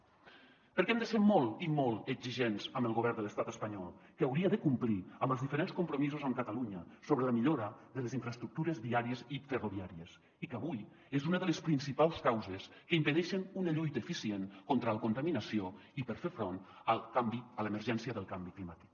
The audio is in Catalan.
perquè hem de ser molt i molt exigents amb el govern de l’estat espanyol que hauria de complir amb els diferents compromisos amb catalunya sobre la millora de les infraestructures viàries i ferroviàries i que avui és una de les principals causes que impedeixen una lluita eficient contra la contaminació i per fer front al canvi a l’emergència del canvi climàtic